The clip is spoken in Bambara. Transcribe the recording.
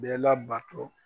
Bɛɛ labatɔ.